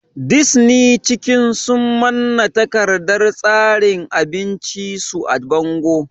Disni cikin sun manna takardar tsarin abinci su a bango